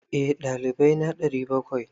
Eh, dalibai na 700.